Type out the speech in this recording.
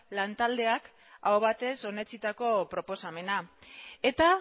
lan taldeak aho batez onetsitako proposamena eta